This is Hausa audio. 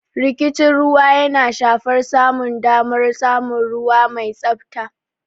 Rikicin ruwa yana shafar samun damar samun ruwa mai tsabta.